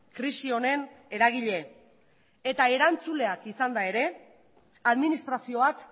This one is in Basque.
krisi honen eragile eta erantzuleak izanda ere administrazioak